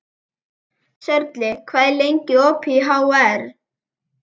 Sörli, hvað er lengi opið í HR?